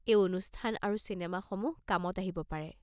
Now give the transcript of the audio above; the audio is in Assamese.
এই অনুষ্ঠান আৰু চিনেমাসমূহ কামত আহিব পাৰে।